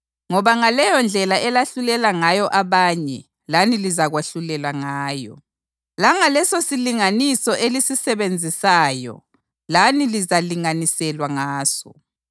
Ngoba ngaleyondlela elahlulela ngayo abanye lani lizakwahlulelwa ngayo, langalesosilinganiso elisisebenzisayo lani lizalinganiselwa ngaso.